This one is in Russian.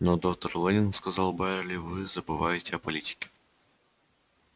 но доктор лэннинг сказал байерли вы забываете о политике